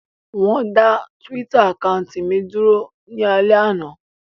Wón dá túwítà àkáùntì mi dúró ní alẹ́ àná